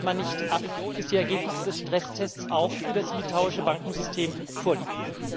Warum wartet man nicht ab, bis die Ergebnisse des Stresstests auch für das litauische Bankensystem vorliegen?